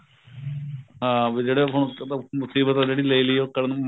ਹਾਂ ਵੀ ਜਿਹੜੇ ਹੁਣ ਮੁਸੀਬਤ ਤਾ ਜਿਹੜੀ ਲੈਲੀ ਉਹ